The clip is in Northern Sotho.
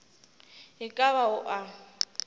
e ka ba o a